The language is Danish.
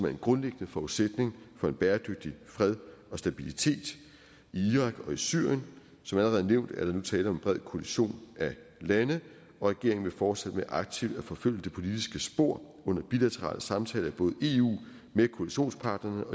en grundlæggende forudsætning for en bæredygtig fred og stabilitet i irak og i syrien som allerede nævnt er der nu tale om en bred koalition af lande og regeringen vil fortsætte med aktivt at forfølge det politiske spor under bilaterale samtaler i både eu med koalitionspartnerne og